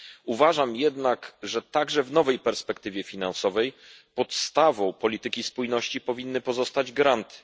Uważam jednak, że także w nowej perspektywie finansowej podstawą polityki spójności powinny pozostać granty.